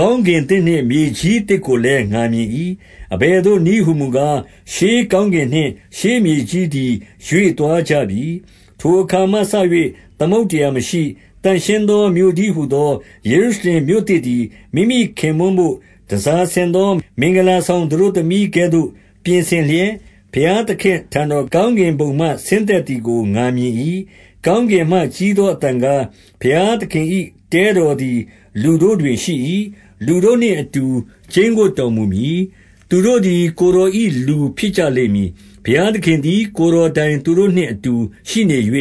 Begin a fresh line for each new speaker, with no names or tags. ကောင်းကင်သစ်နှင့် မြေကြီးသစ်ကိုလည်း ငါမြင်၏။ အဘယ်သို့နည်းဟူမူကား၊ ရှေးကောင်းကင်နှင့် ရှေးမြေကြီးသည် ရွှေသွားကြပြီ။ ထိုအခါမှစ၍ သမုဒ္ဒရာ မရှိ။ 2 သန့်ရှင်းသောမြို့တည်းဟူသော ယေရုရှလင်မြို့ သစ်သည် မိမိခင်ပွန်းဘို့ တန်ဆာဆင်သော မင်္ဂလာ ဆောင်သတို့သမီးကဲ့သို့ ပြင်ဆင်လျက်၊ ဘုရားသခင် အထံတော်၊ ကောင်းကင်ဘုံမှ ဆင်းသက်သည်ကို ငါမြင်၏။ 3 ကောင်းကင်မှကြီးသော အသံကား၊ ဘုရား သခင်၏ တဲကော်သည် လူတို့တွင်ရှိ၏။ လူတို့နှင့်အတူ ကျိန်းဝပ်တော်မူမည်။ သူတို့သည် ကိုယ်တော်၏လူ ဖြစ်ကြလိမ့်မည်။ ဘုရားသခင်သည် ကိုယ်တော်တိုင် သူတို့နှင့်အတူရှိနေ၍